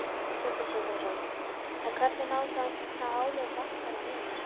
Sindri Sindrason: En hvernig má þá ná álögum bankanna niður?